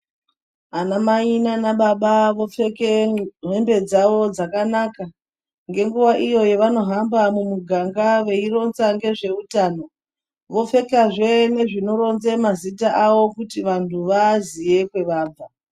Ana mai nanababa vopfeke hembe dzavo dzakanaka ngenguva iyo yavanohamba mumuganga veironza nezveutano. Vopfekazvee nezvinoronze mazita avo kuti vantu vaaziye kwavabva.